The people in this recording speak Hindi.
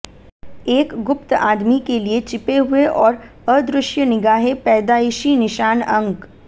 एक गुप्त आदमी के लिए छिपे हुए और अदृश्य निगाहें पैदाइशी निशान अंक